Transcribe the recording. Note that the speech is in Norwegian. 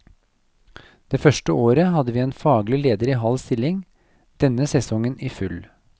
Det første året hadde vi en faglig leder i halv stilling, denne sesongen i full.